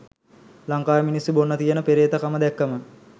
ලංකාවේ මිනිස්සු බොන්න තියෙන පෙරේතකම දැක්කම